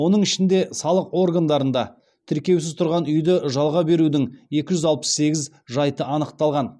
оның ішінде салық органдарында тіркеусіз тұрғын үйді жалға берудің екі жүз алпыс сегіз жайты анықталған